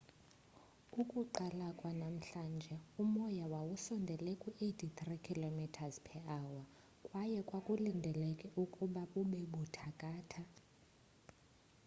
ukuqala kwanamhlanje umoya wawusondele kwi-83 km / h kwaye kwakulindelekile ukuba bube buthathaka